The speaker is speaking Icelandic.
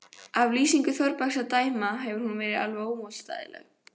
Af lýsingu Þórbergs að dæma hefur hún verið ómótstæðileg.